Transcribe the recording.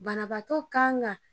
Banabaatɔ kan ka